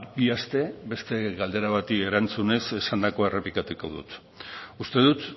bi aste beste galdera bati erantzunez esandakoa errepikatuko dut uste dut